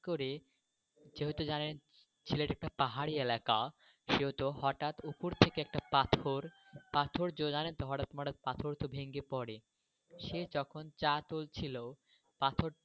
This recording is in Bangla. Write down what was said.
সে তখন চা তুলছিলো হঠাৎ করে যেহেতু জানেন সিলেট একটা পাহাড়ি এলাকা সেহেতু হঠাৎ উপর থেকে একটা পাথর। পাথরটা জড়ালে ধরাত মরাত পাথর টা ভেঙে পরে.